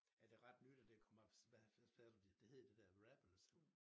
Er det ret nyt at det kom op hvad hvad sagde du det hed det dér rapples?